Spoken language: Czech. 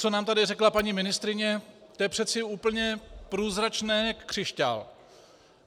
Co nám tady řekla paní ministryně, to je přece úplně průzračné jak křišťál.